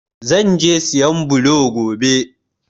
Zan je sayan blo gobe.